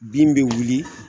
Bin be wili